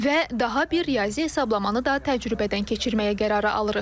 Və daha bir riyazi hesablamanı da təcrübədən keçirməyə qərarı alırıq.